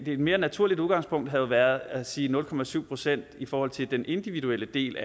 et mere naturligt udgangspunkt havde været at sige nul procent procent i forhold til den individuelle del